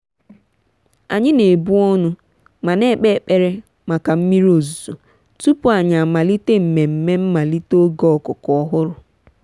anyị na-ebu ọnụ ma na-ekpe ekpere maka mmiri ozuzo tupu anyị amalite mmemme mmalite oge ọkụkọ ọhụrụ.